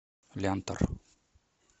лянтор